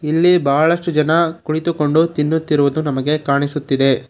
ಇಲ್ಲಿ ಬಹಳಷ್ಟು ಜನ ಕುಳಿತುಕೊಂಡು ತಿನ್ನುತ್ತಿರುವುದು ನಮಗೆ ಕಾಣಿಸುತ್ತಿದೆ.